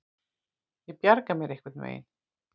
Ég bjarga mér einhvern veginn.